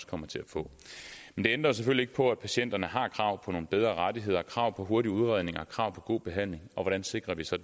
kommer til at få det ændrer selvfølgelig ikke på at patienterne har krav på nogle bedre rettigheder krav på hurtig udredning og krav på god behandling og hvordan sikrer vi så